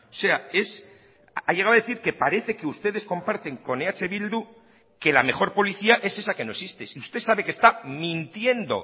sea es ha llegado a decir que parece que ustedes comparten con eh bildu que la mejor policía es esa que no existe si usted sabe que está mintiendo